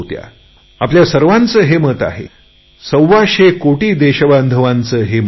आपल्या सर्वांचे हे मत आहे सव्वाशेकोटी देशबांधवांचे हे मत आहे